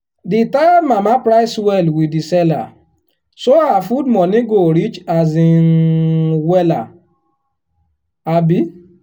the tired mama price well with the seller so her food money go reach um wella. um